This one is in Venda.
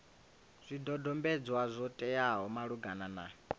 zwidodombedzwa zwo teaho malugana na